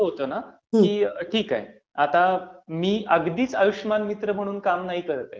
म्हणजे कसं होतं ना, की ठीक आहे, मी अगदीच आयुष्यमान मित्र म्हणून काम नाही करत आहे.